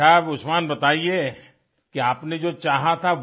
अच्छा आप उस्मान बताइये कि आपने जो चाहा था